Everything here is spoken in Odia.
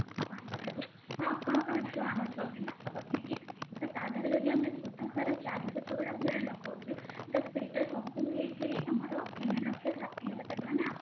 ଆପଣଙ୍କ ଠାରୁ ସେ ଆପଣଙ୍କ କାହା ଠୁ ଅଣୁଛନ୍ତି ମାସକ ପାଇଁକି ତ ତା ଦେହରେ ବି ଆମେ ସୁଧହାର ଚାରି ଶତକଡା ଭଳି ଲଗୋଉଛେ ତ ସେଇଟା ସମ୍ପୂର୍ଣ ହେଇକିରି ଆମର ତିନିଲକ୍ଷ ଷାଠିଏ ହଜାର ମାନେ